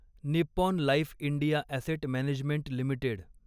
Nippon life India asset management limited